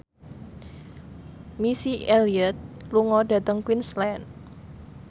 Missy Elliott lunga dhateng Queensland